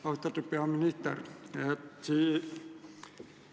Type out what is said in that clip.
Austatud peaminister!